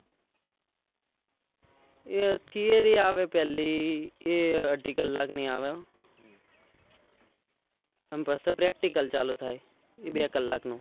એ theory આવે પેહલી એ અઢી કલાક ની આવે અન પાછો practical ચાલુ થાય. એ બે કલાક નો